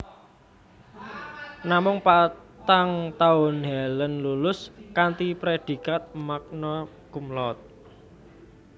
Namung patang taun Helen lulus kanthi prédhikat magna cum laude